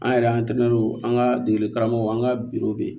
An yɛrɛ an tɛmɛnen don an ka degeli karamɔgɔw an ka bɛ yen